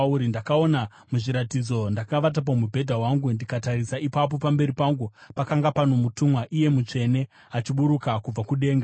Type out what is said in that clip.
“Ndakaona muzviratidzo, ndakavata pamubhedha wangu, ndikatarisa, ipapo pamberi pangu pakanga pano mutumwa, iye mutsvene, achiburuka kubva kudenga.